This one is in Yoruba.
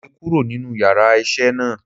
Mo le kúrò nínú yàrá isé náà